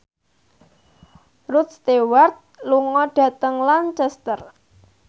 Rod Stewart lunga dhateng Lancaster